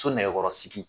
So nɛgɛkɔrɔsigi